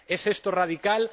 ¿Es esto radical?